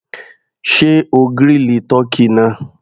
Sé o grill tọ́kì náà?